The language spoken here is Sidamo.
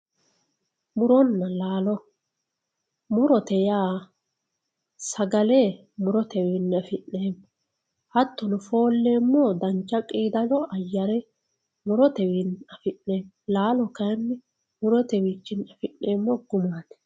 muronna laalo murote yaa sagale murotewinni afinemo hatano folemo dancha qidado ayare murotewinni afinemo laalo kayinni murotewichinni afinemo gumatti